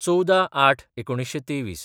१४/०८/१९२३